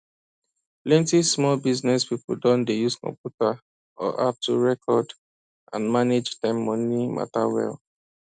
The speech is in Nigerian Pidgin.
plenty small business people don dey use computer or app to record and manage them money matter well